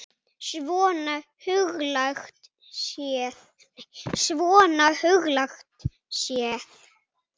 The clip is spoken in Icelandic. Svona huglægt séð.